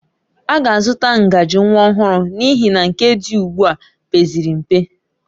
A ga-azụta ngaji nwa ọhụrụ n'ihi na nke dị ugbu a pezịrị mpe